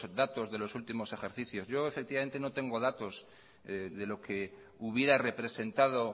datos de los últimos ejercicios yo efectivamente no tengo datos de los que hubiera representado